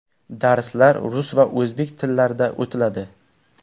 Darslar rus va o‘zbek tillarida o‘tiladi!